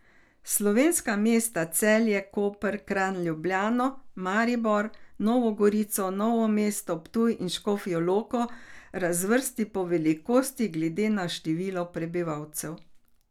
Slovenska mesta Celje, Koper, Kranj, Ljubljano, Maribor, Novo Gorico, Novo mesto, Ptuj in Škofjo Loko razvrsti po velikosti glede na število prebivalcev.